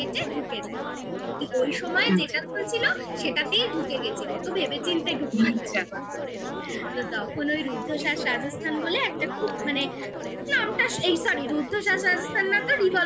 ঢুকে যাই ওই সময় হুম যেটা চলছিল সেটাতেই ঢুকে গেছি অতো ভেবে চিন্তে ঢুকিনি আচ্ছা তখন ওই রুদ্ধশ্বাস রাজস্থান বলে একটা খুব মানে নামটা এই sorry রুদ্ধশ্বাস না তো revolver